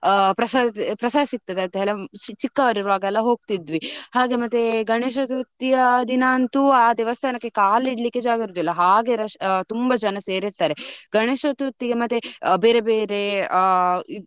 ಆ ಪ್ರಸಾದ ಸಿಕ್ಕ್ತದೆ ಅಂತ ಚಿಕ್ಕವರು ಇರ್ವಗ ಹೋಗ್ತಿದ್ವಿ. ಹಾಗೆ ಮತ್ತೆ ಗಣೇಶ ಚತುರ್ಥಿ ದಿನ ಅಂತೂ ಆ ದೇವಸ್ಥಾನಕ್ಕೆ ಕಾಲು ಇಡಲಿಕ್ಕೆ ಜಾಗ ಇರುದಿಲ್ಲ ಹಾಗೆ rush ತುಂಬಾ ಜನ ಸೇರಿರ್ತಾರೆ. ಗಣೇಶ ಚತುರ್ಥಿ ಗೆ ಮತ್ತೆ ಬೇರೆ ಬೇರೆ ಆ.